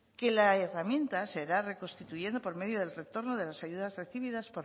que la herramienta se irá reconstituyendo por medio del retorno de las ayudas recibidas